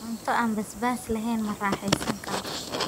Cunto aan basbaas lahayn Ma raaxaysan karo.